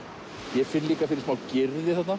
ég finn líka fyrir smá Gyrði þarna